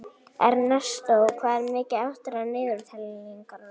Ernestó, hvað er mikið eftir af niðurteljaranum?